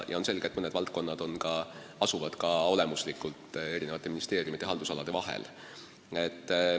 On selge, et mõned valdkonnad asuvad olemuslikult eri ministeeriumide haldusalade vahel.